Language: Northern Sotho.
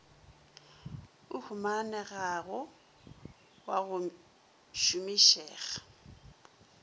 o humanegago wa go šomišega